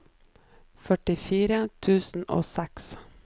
førtifire tusen og seks